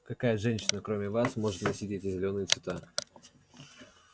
какая женщина кроме вас может носить эти зелёные цвета